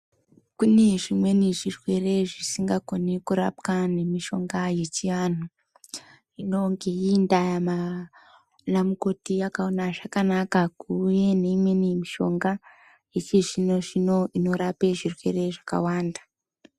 Kune zvimweni zvirwere zvisingakoni kurapwa nemishonga yechianhu. Hino ngeiyi ndaa maa anamukoti akaona zvakanaka kuuye neimweni mishonga, yechizvino-zvino ,inorape zvirwere zvakawanda.